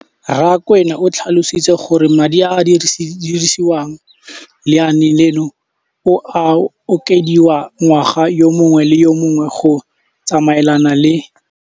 Rakwena o tlhalositse gore madi a a dirisediwang lenaane leno a okediwa ngwaga yo mongwe le yo mongwe go tsamaelana le.